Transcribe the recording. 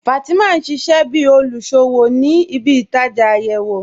Fatima n ṣíṣẹ̀ bí olúṣọ́wọ̀ ní ìbí-ìtajá ayéwo.